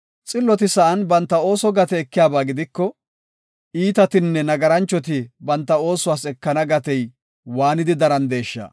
Xilloti sa7an banta ooso gate ekiyaba gidiko, iitatinne nagaranchati banta oosuwas ekana gatey waanidi darandeesha!